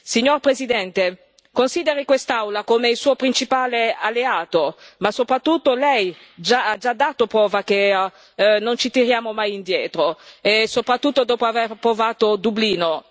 Signor Presidente, consideri quest'Aula il suo principale alleato, ma soprattutto le abbiamo già dato prova che non ci tiriamo mai indietro, soprattutto dopo aver approvato Dublino.